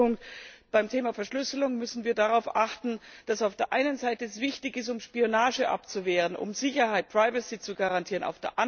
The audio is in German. Letzter Punkt Beim Thema Verschlüsselung müssen wir darauf achten, dass sie auf der einen Seite wichtig ist, um Spionage abzuwehren, um Sicherheit, privacy zu garantieren.